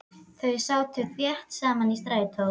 Þau sátu þétt saman í strætó.